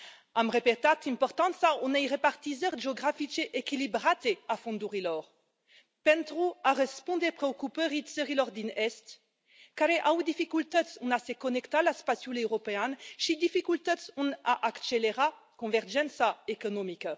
Am repetat importanța unei repartizări geografice echilibrate a fondurilor pentru a răspunde preocupării țărilor din est care au dificultăți în a se conecta la spațiul european și dificultăți în a accelera convergența economică.